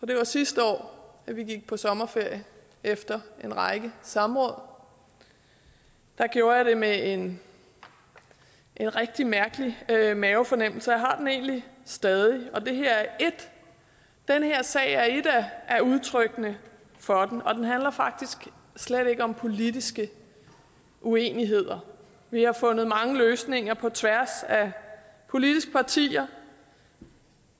det var sidste år at vi gik på sommerferie efter en række samråd gjorde jeg det med en rigtig mærkelig mavefornemmelse og jeg har den egentlig stadig den her sag er et af udtrykkene for den og den handler faktisk slet ikke om politiske uenigheder vi har fundet mange løsninger på tværs af politiske partier